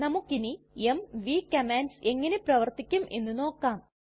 നമ്മുക്കിനി MV commands എങ്ങനെ പ്രവർത്തിക്കും എന്ന് നോക്കാം